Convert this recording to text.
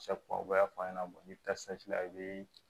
u b'a fɔ a ɲɛna n'i bɛ taa la i bɛ